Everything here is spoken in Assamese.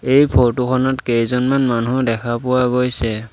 এই ফটো খনত কেইজনমান মানুহ দেখা পোৱা গৈছে।